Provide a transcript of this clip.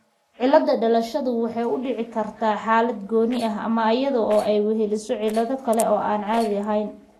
Cilad dhalashadu waxay u dhici kartaa xaalad gooni ah ama iyadoo ay weheliso cillado kale oo aan caadi ahayn.